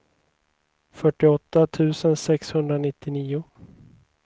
fyrtioåtta tusen sexhundranittionio